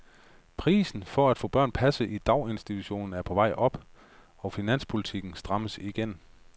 Prisen for at få børn passet i daginstitutioner er på vej op og finanspolitikken strammes igen.